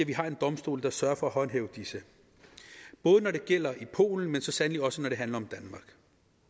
vi har en domstol der sørger for at håndhæve disse både når det gælder i polen men så sandelig også når det handler om den